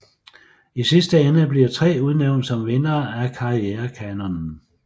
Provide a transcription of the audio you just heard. I sidste ende bliver tre udnævnt som vindere af KarriereKanonen